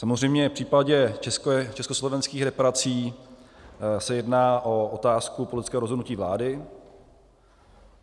Samozřejmě v případě československých reparací se jedná o otázku politického rozhodnutí vlády.